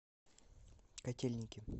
котельники